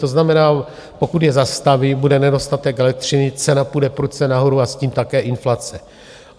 To znamená, pokud je zastaví, bude nedostatek elektřiny, cena půjde prudce nahoru a s tím také inflace.